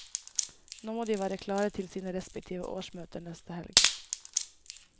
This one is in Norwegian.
Nå må de være klare til sine respektive årsmøter neste helg.